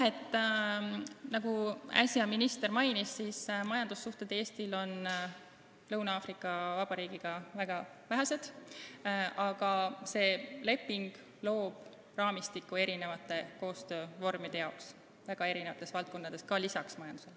Nagu minister äsja mainis, Eestil on majandussuhteid Lõuna-Aafrika Vabariigiga väga vähe, aga see leping loob raamistiku koostöövormide jaoks väga erinevates valdkondades, ka mujal kui majanduses.